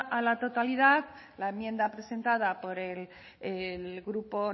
a la totalidad la enmienda presentada por el grupo